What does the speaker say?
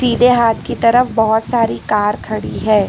सीधे हाथ की तरफ बहुत सारी कार खड़ी है।